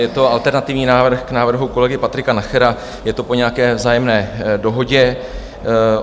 Je to alternativní návrh k návrhu kolegy Patrika Nachera, je to po nějaké vzájemné dohodě.